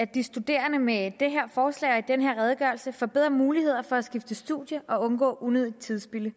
de studerende med det her forslag og i den her redegørelse får bedre muligheder for at skifte studium og undgå unødigt tidsspilde